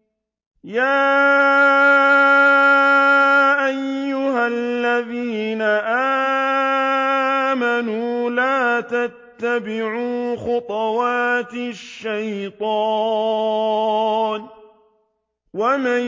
۞ يَا أَيُّهَا الَّذِينَ آمَنُوا لَا تَتَّبِعُوا خُطُوَاتِ الشَّيْطَانِ ۚ وَمَن